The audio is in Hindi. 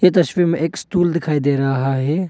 ये तस्वीर में एक स्टूल दिखाई दे रहा है।